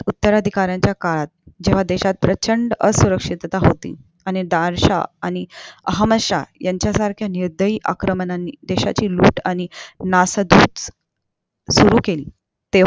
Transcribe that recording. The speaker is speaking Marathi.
उत्तराधिकारच्या काळात जेव्हा देशात प्रचंड असुक्षता होती आणि नादलशन अमहमद शहा यांच्यासारख्या निर्दयी आक्रमकांनी देशाची लूट आणि नासधूस सुरु केली तेव्हा